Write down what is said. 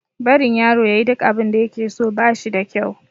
Barin yaro ya yi duk abinda ya ke so, ba shi da kyau.